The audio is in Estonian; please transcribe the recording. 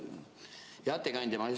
Hea ettekandja!